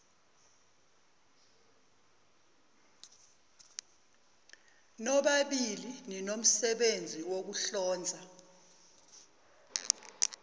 nobabili ninomsebenzi wokuhlonza